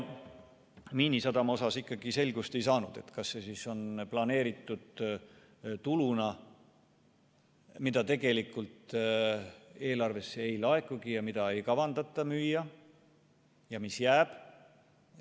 Miinisadama osas ikkagi selgust ei saanud, kas see on planeeritud tuluna, mida tegelikult eelarvesse ei laekugi, kas sadamat ei kavatseta müüa ja see jääb alles.